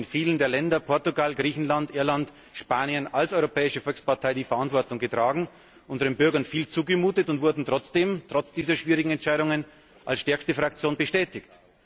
Wir haben in vielen Ländern Portugal, Griechenland, Irland, Spanien als Europäische Volkspartei die Verantwortung getragen, unseren Bürgern viel zugemutet und wurden trotz dieser schwierigen Entscheidungen als stärkste Fraktion bestätigt.